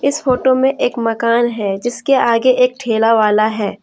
इस फोटो में एक मकान है जिसके आगे एक ठेला वाला है।